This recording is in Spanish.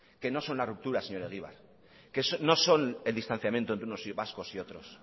que no son la ruptura señor egibar que no son el distanciamiento entre unos vascos y otros